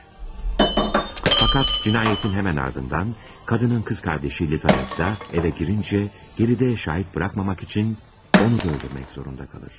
Fəqət cinayətin həmən ardından qadının qız qardaşı Lizavetta evə girincə, geridə şahid buraxmamaq üçün onu da öldürmək zorunda qalır.